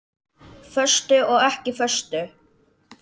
Föstu og ekki föstu.